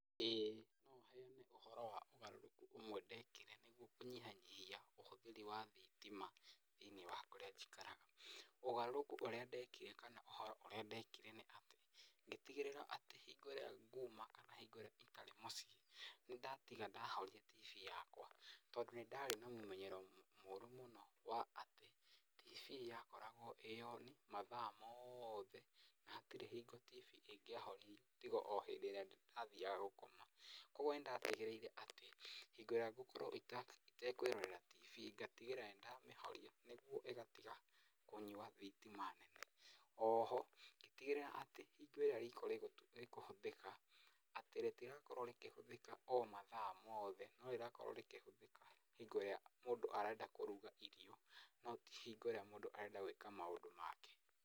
Ĩĩ ũhoro wa ũgarũrũku ũmwe ndekire nĩguo kũnyihanyihia ũhũtheri wa thitima thĩiniĩ wa kũrĩa njikaraga, ũgarũrũku ũrĩa ndekire kana ũhoro ũrĩa ndeekire nĩ atĩ , ngĩtigĩrĩra atĩ hingo ĩrĩa nguuma kana hingo ĩrĩa itarĩ mũciĩ nĩndaatiga ndahoria TV yakwa. Tondũ nĩ ndaarĩ na mũmenyero mũru mũno wa atĩ TV yakoragwo ĩĩ on mathaa mothe hatirĩ hingo TV ĩgĩahorire, tiga o rĩrĩa ndathiaga gũkoma. Koguo nĩ ndatigĩrĩire atĩ hĩndĩ ĩrĩa ngũkorwo itekwĩrorera TV ngatigĩrĩra nĩndamĩhoria nĩguo, ĩgatiga kũnyua thitima nene. O ho, ngĩtigĩrĩra atĩ rĩrĩa rĩko rĩkũhũthĩka atĩ rĩtigaakorwo rĩkĩhũthĩka o mathaa mothe, no rĩraakorwo rĩkĩhũthĩka hingo ĩrĩa mũndũ arenda kũruga irio, no ti hingo ĩrĩa mũndũ arenda gwĩka maũndũ make.